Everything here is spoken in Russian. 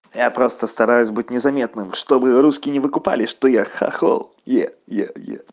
я просто стараюсь быть незаметным чтобы русские не выкупали что я хохол е е е